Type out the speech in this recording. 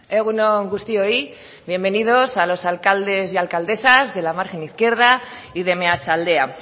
egun on guztioi bienvenidos a los alcaldes y alcaldesas de la margen izquierda y de meatzaldea